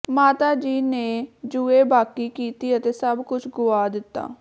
ਮਾਤਾ ਜੀ ਨੇ ਜੂਏਬਾਕੀ ਕੀਤੀ ਅਤੇ ਸਭ ਕੁਝ ਗੁਆ ਦਿੱਤਾ